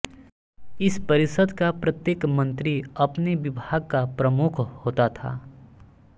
इस परिषद का प्रत्येक मन्त्री अपने विभाग का प्रमुख होता था